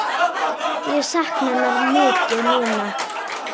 Ég sakna hennar mikið núna.